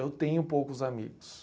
Eu tenho poucos amigos.